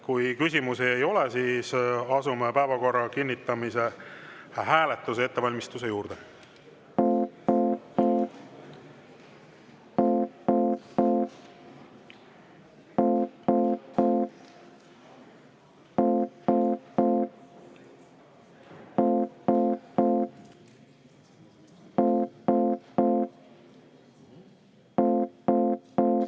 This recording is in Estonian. Kui küsimusi ei ole, siis asume päevakorra kinnitamise hääletuse ettevalmistuse juurde.